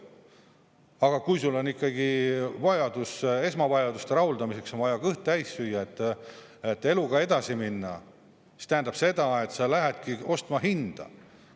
Aga kui sul on ikkagi vajadus esmavajaduste rahuldamiseks, on vaja kõht täis süüa, et eluga edasi minna, siis see tähendab seda, et sa lähedki ostma hinda.